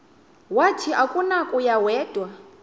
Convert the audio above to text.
wathi akunakuya wedw